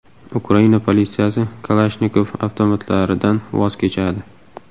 Ukraina politsiyasi Kalashnikov avtomatlaridan voz kechadi.